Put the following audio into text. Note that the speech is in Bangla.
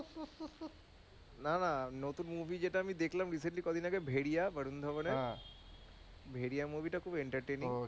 না না নতুন movie যেটা আমি দেখলাম recent ই কদিন আগে ভেরিয়া বরুণ ধাওয়ান এর ভেরিয়া movie টা খুব entertaining